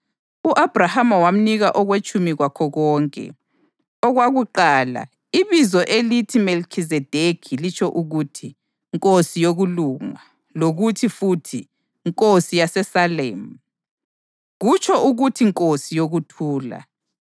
u-Abhrahama wamnika okwetshumi kwakho konke. Okwakuqala, ibizo elithi Melikhizedekhi litsho ukuthi “Nkosi yokulunga”; lokuthi futhi, “Nkosi yaseSalemu” kutsho ukuthi “Nkosi yokuthula.”